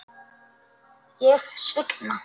Ég svigna.